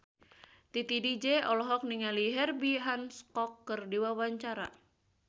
Titi DJ olohok ningali Herbie Hancock keur diwawancara